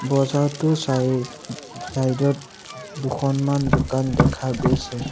বজাৰটোৰ চাই চাইড ত ওম দুখনমান দোকান দেখা গৈছে।